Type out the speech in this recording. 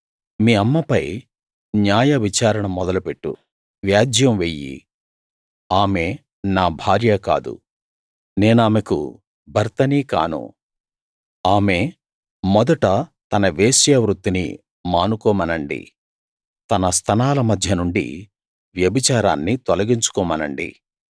మీ అమ్మపై న్యాయవిచారణ మొదలుపెట్టు వ్యాజ్యం వెయ్యి ఆమె నా భార్యా కాదు నేనామెకు భర్తనీ కాను ఆమె మొదట తన వేశ్యా వృత్తిని మానుకోమనండి తన స్తనాల మధ్య నుండి వ్యభిచారాన్ని తొలగించుకోమనండి